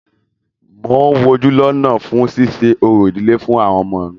Mo ń wojú lọ́nà fún ṣíṣe orò ìdílé fún àwọn ọmọ mí.